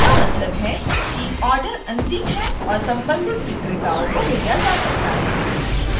इसका मतलब है कि order अंतिम है और संबंधित विक्रेता को भेजा जा सकता है